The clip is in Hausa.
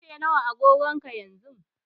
Ƙarfe nawa a agogonka yanzu?